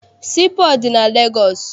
Sii pọọtụ dị na Legọọsị.